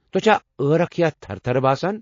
تۄہہِ چھا عٲركھ یا تھرٕ تھرٕ باسان۔